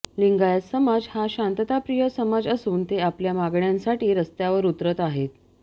लिंगायत समाज हा शांतताप्रिय समाज असून ते आपल्या मागण्यांसाठी रस्त्यावर उतरत आहेत